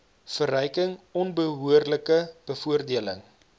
verryking onbehoorlike bevoordeling